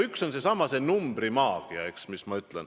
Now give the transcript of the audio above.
Üks on seesama numbrimaagia.